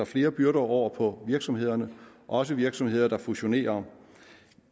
flere byrder over på virksomhederne også virksomheder der fusionerer